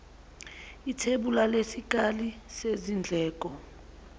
ithebula lesikali sezindleko